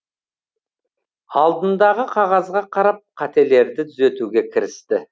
алдындағы қағазға қарап қателерді түзетуге кірісті